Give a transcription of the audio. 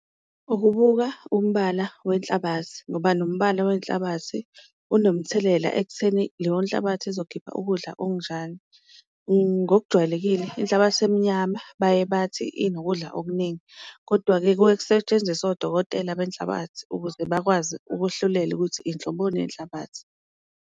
Ukubuka umbala wenhlabathi ngoba nombala wenhlabathi unomthelela ekutheni leyo nhlabathi ezokhipha ukudla okunjani, ngokujwayelekile inhlabathi emnyama baye bathi inokudla okuningi. Kodwa-ke kuke kusetshenziswe odokotela benhlabathi ukuze bakwazi ukuwehlulela ukuthi inhloboni yenhlabathi.